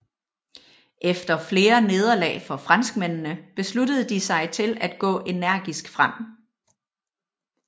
Efter flere nederlag for franskmændene besluttede de sig til at gå energisk frem